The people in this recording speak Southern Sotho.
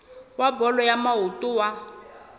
wa bolo ya maoto wa